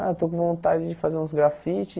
Ah, estou com vontade de fazer uns grafites.